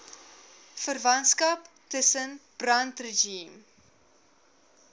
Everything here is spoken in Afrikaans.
verwantskap tussen brandregime